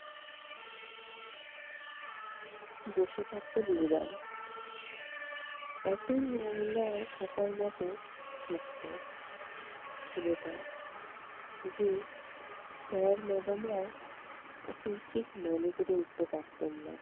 বসে থাকতো নির্বাণ। এতই এর ন থাকার মতো থাকতো ছেলেটা যে sir madam রাও ওকে ঠিক মনে করে উঠতে পারতেন না।